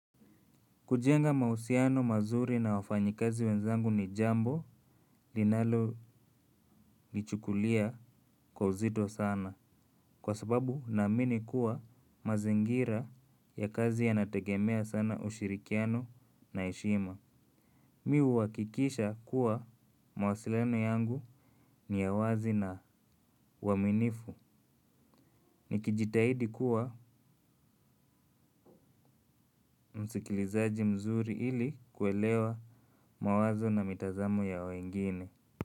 Kujenga mausiano mazuri na wafanyikazi wenzangu ni jambo linalolichukulia kwa uzito sana. Kwa sababu naamini kuwa mazingira ya kazi yanategemea sana ushirikiano na heshima. Mi uhakikisha kuwa mawasiliano yangu ni wazi na uaminifu. Nikijitahidi kuwa msikilizaji mzuri ili kuelewa mawazo na mitazamo ya wengine.